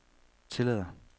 tillader